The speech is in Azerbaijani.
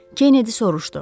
Kennedi soruşdu.